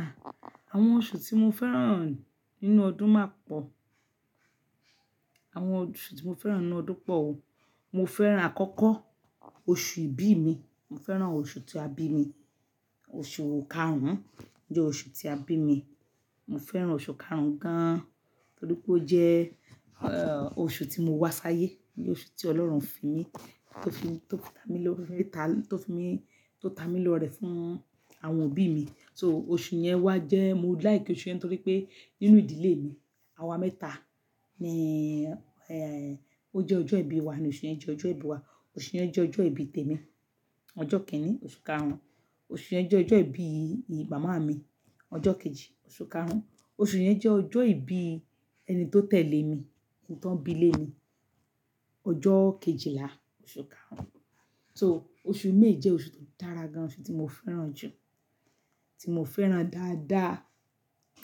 À, àwọn oṣù tí mo fẹ́ràn nínú ọdún má pọ̀. Àwọn oṣù tí mo fẹ́ràn nínú ọdún pọ̀ o. Mo fẹ́ràn àkọ́kọ́, oṣù ìbí mi. Mo fẹ́ràn oṣù tí a bí mi. Oṣù karùn-ún jẹ́ oṣù tí a bí mi. Mo fẹ́ràn oṣù karùn-ún gan-an nítorí pé ó jẹ́, eh, oṣù tí mo wá sáyé. Ni oṣù tí Ọlọ́run fi mí, tó fi, tó ta mi lọ́, tó ta, tó fi mi, tó ta mi lọ rẹ̀ fún àwọn òbí mi. So oṣù yẹn wá jẹ́, mo like oṣù yẹn nítorí pé nínú ìdílé mi, àwa mẹ́ta ni, eh, ó jẹ́ ọjọ́ ìbí wa ni oṣù yẹn jẹ́ ọjọ́ ìbí wa. Oṣù yẹn jẹ́ ọjọ́ ìbí tèmi, ọjọ́ kẹ́rin oṣù karùn-ún. Oṣù yẹn jẹ́ ọjọ́ ìbí bàbá mi, ọjọ́ kejì oṣù karùn-ún. Oṣù yẹn jẹ́ ọjọ́ ìbí ẹni tó tẹ̀lé mi, ó tàn bí lé mi, ọjọ́ kejìlá oṣù karùn-ún. So oṣù may jẹ oṣù tó dára gan-an oṣù tí mo fẹ́ràn jù, tí mo fẹ́ràn dáadáa.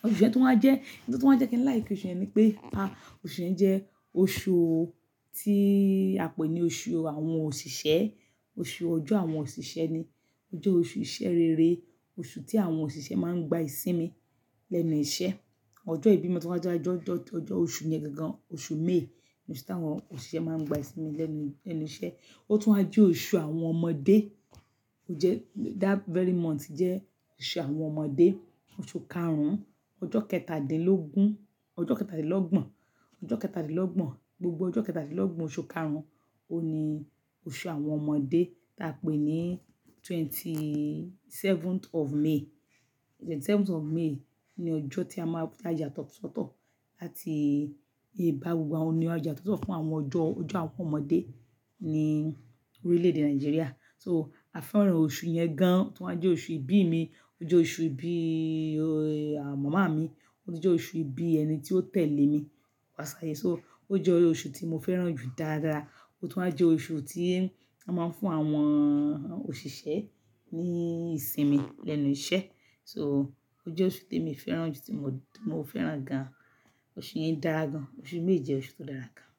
Oṣù yẹn tu ń wá jẹ́, n tó tuń wá jẹ́ kí n like oṣù yẹn ni pé, ah, oṣù yẹn jẹ́ oṣù tí a pè ní oṣù àwọn òṣìṣẹ́, oṣù ọjọ́ àwọn òṣìṣẹ́ ni. O jẹ́ oṣù ìṣe rere, oṣù tí àwọn òṣìṣẹ́ máa ń gba ìsinmi lẹ́nu iṣẹ́. Ọjọ́ ìbí mi tu ń wá jẹ́ ọjọ́, ọjọ́, ọjọ́ oṣù yẹn gangan oṣù may oṣù tí àwọn òṣìṣẹ́ máa ń gba ìsinmi lẹ́nu, lẹ́nu iṣẹ́. Ó tún wá jẹ́ oṣù àwọn ọmọdé. Ó jẹ́, that very month jẹ́ oṣù àwọn ọmọdé. Oṣù karùn-ún, ọjọ́ kẹtàdínlógún, ọjọ́ kẹtàdínlọ́gbọ̀n, ọjọ́ kẹtàdínlọ́gbọ̀n, gbogbo ọjọ́ kẹtàdínlọ́gbọ̀n oṣù karùn-ún, ó ní oṣù àwọn ọmọdé tí a pè ní twenty-seventh of May. Twenty-seventh of May ni ọjọ́ tí a máa ti a yatọ́ sọ́tọ̀ láti iba gbogbo àwọn o ni wà àyà sọ́tọ̀ fún àwọn ọjọ́, ọjọ́ àwọn ọmọdé ní orílẹ̀-èdè Nàìjíríà. So a fẹ́ràn oṣù yẹn gan-an. Ó tún wá jẹ́ oṣù ìbí mi, ó jẹ́ oṣù ìbí, eh, àwọn màmá mi, ó tu jẹ́ oṣù ìbí ẹni tí ó tẹ̀lé mi wá sáyé. So ó jẹ́ oṣù tí mo fẹ́ràn jù dáadáa. Ó tún wá jẹ́ oṣù tí a máa ń fún àwọn òṣìṣẹ́ ní ìsinmi lẹ́nu iṣẹ́. So ó jẹ́ oṣù te mi fẹ́ràn jù tí mo, tí mo fẹ́ràn gan-an. Oṣù yẹn dára gan-an. Oṣù méje oṣù tó dára gan-an.